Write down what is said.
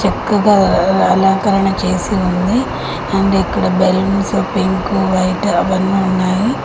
చక్కగా అలంకరణ చేసి ఉంది అండ్ ఇక్కడ బెలూన్స్ పింక్ వైట్ అవన్నీ ఉన్నాయి.